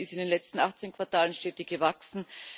Die Wirtschaft ist in den letzten 18 Quartalen stetig gewachsen.